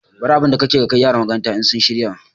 Bar abinda kake yi ka kai yara makaranta in sun shirya